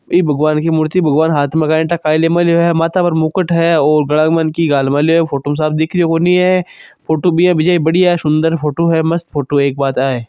ई भगवान की मूर्ति भगवान हाथ मे काई ठा के ले मेल्यो है माथा पर मुकुट है और गला में की गाल मेल्यो है फ़ोटो मे साफ दिख रियो कोनी है फोटो बिया जिया बडीया है सुन्दर फ़ोटो है मस्त फ़ोटो है एक बात आ है।